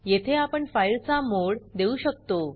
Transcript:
येथे आपण फाइलचा मोड देऊ शकतो